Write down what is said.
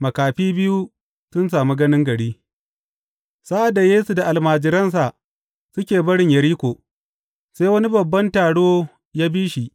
Makafi biyu sun sami ganin gari Sa’ad da Yesu da almajiransa suke barin Yeriko, sai wani babban taro ya bi shi.